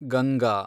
Ganga